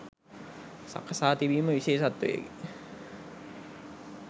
සකසා තිබීම විශේෂත්වයකි.